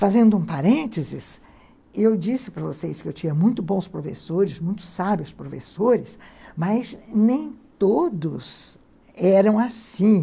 Fazendo um parênteses, eu disse para vocês que eu tinha muito bons professores, muito sábios professores, mas nem todos eram assim.